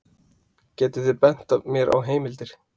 Getið þið bent mér á heimildir?